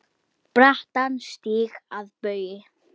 brattan stíg að baugi